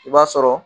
I b'a sɔrɔ